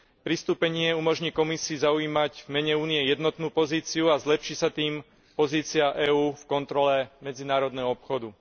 Pristúpenie umožní Komisii zaujímať v mene Únie jednotnú pozíciu a zlepší sa tým pozícia EÚ v kontrole medzinárodného obchodu.